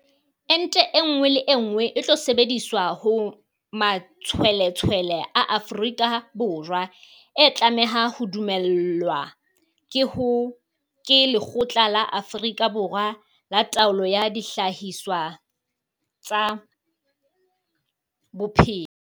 Ente enngwe le enngwe e tlo sebediswa ho matshweletshwele a Afrika Borwa e tlameha ho dumellwa ke Lekgotla la Afrika Borwa la Taolo ya Dihlahiswa tsa Bophelo, SAHPRA.